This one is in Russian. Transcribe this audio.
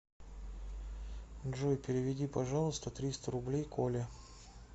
джой переведи пожалуйста триста рублей коле